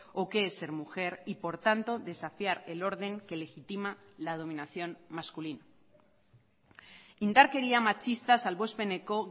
o qué es ser mujer y por tanto desafiar el orden que legitima la dominación masculina indarkeria matxista salbuespeneko